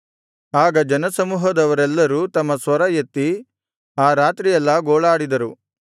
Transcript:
ಆಗ ಜನಸಮೂಹದವರೆಲ್ಲರೂ ತಮ್ಮ ಸ್ವರ ಎತ್ತಿ ಆ ರಾತ್ರಿಯೆಲ್ಲಾ ಗೋಳಾಡಿದರು